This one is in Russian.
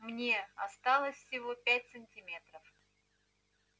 мне осталось всего пять сантиметров